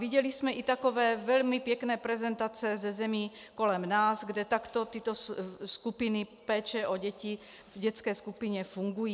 Viděli jsme i takové velmi pěkné prezentace ze zemí kolem nás, kde takto tyto skupiny péče o děti v dětské skupině fungují.